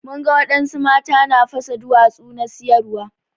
Mun ga wadansu mata na fasa duwatsu na siyarwa.